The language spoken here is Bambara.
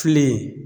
Filen